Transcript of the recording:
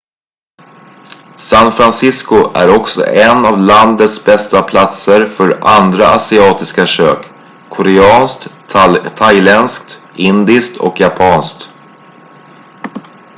san francisco är också en av landets bästa platser för andra asiatiska kök koreanskt thailändskt indiskt och japanskt